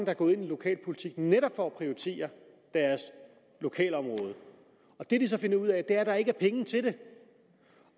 er gået ind i lokalpolitik netop for at prioritere deres lokalområde og det de så finder ud af er at der ikke er penge til det